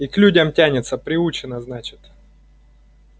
и к людям тянется приучена значит